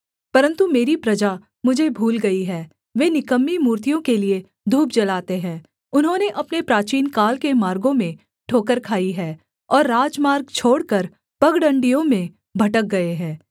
परन्तु मेरी प्रजा मुझे भूल गई है वे निकम्मी मूर्तियों के लिये धूप जलाते हैं उन्होंने अपने प्राचीनकाल के मार्गों में ठोकर खाई है और राजमार्ग छोड़कर पगडण्डियों में भटक गए हैं